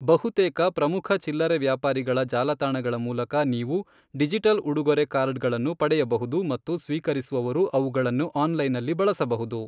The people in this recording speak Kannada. ಬಹುತೇಕ ಪ್ರಮುಖ ಚಿಲ್ಲರೆ ವ್ಯಾಪಾರಿಗಳ ಜಾಲತಾಣಗಳ ಮೂಲಕ ನೀವು ಡಿಜಿಟಲ್ ಉಡುಗೊರೆ ಕಾರ್ಡ್ಗಳನ್ನು ಪಡೆಯಬಹುದು ಮತ್ತು ಸ್ವೀಕರಿಸುವವರು ಅವುಗಳನ್ನು ಆನ್ಲೈನ್ನಲ್ಲಿ ಬಳಸಬಹುದು.